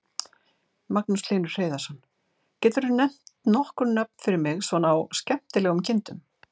Magnús Hlynur Hreiðarsson: Getur þú nefnt nokkur nöfn fyrir mig svona á skemmtilegum kindum?